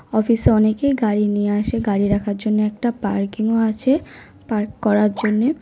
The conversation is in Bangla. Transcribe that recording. অফিস -এ অনেকেই গাড়ি নিয়ে আছে। গাড়ি রাখার জন্য একটা পার্কিং ও আছে পার্ক করার জন্যে।